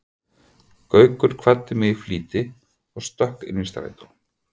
Gaukur kvaddi mig í flýti og stökk inn í strætó.